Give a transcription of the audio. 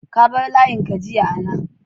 ka bar layin ka jiya na